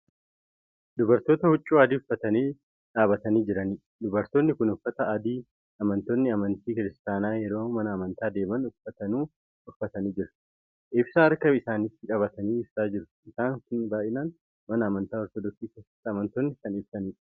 Dubartoota huccuu adii uffatanii dhaabatanii jiraniidha. dubartonni Kuni Uffata adii amantoonni amantii kiristaanaa yeroo mana amantaa deeman uffatanu uffatanii jiru. ibsaa harka isaanitti qabatanii ibsaa jiru. ibsaan Kuni baay'inaan mana amantaa ortodoksii keessatti amantoonni Kan ibsaniidha.